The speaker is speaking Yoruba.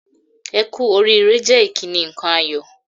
"Ẹ kú oríire" jẹ́ ìkíni nǹkan ayọ̀